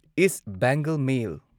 east Bengal ꯃꯦꯜ